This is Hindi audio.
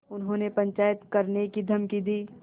उन्होंने पंचायत करने की धमकी दी